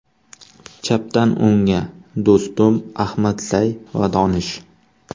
Chapdan o‘ngga: Do‘stum, Ahmadzay va Donish.